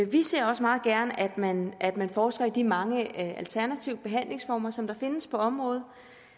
vi ser også meget gerne at man at man forsker i de mange alternative behandlingsformer som der findes på området